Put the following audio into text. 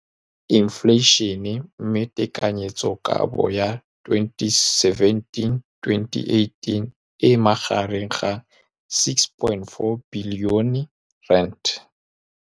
Infleišene, mme tekanyetsokabo ya 2017, 18, e magareng ga R6.4 bilione.